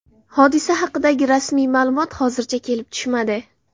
Hodisa haqidagi rasmiy ma’lumot hozircha kelib tushmadi.